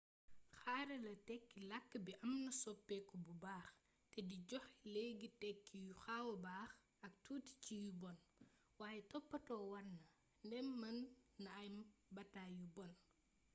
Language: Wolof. xarala tékki lakk bi amna soppéku bu baax té di joxé léggi tékki yu xawa bax ak tuuti ci yu bonn waye toppato warna ndém mën na am batay yu bonn